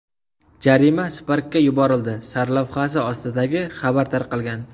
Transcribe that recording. Jarima Spark’ga yuborildi” sarlavhasi ostidagi xabar tarqalgan.